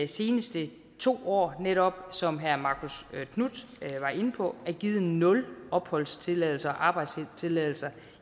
seneste to år netop som herre marcus knuth var inde på er givet nul opholdstilladelser og arbejdstilladelser